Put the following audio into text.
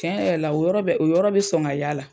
Tiɲɛ yɛrɛ la o yɔrɔ bɛ o yɔrɔ bɛ sɔn ka y'a la.